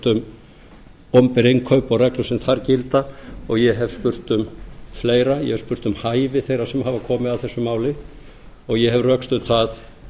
um opinber innkaup og reglur sem þar gilda og ég hef spurt um fleira ég hef spurt um hæfi þeirra sem hafa komið að þessu máli ég hef rökstutt það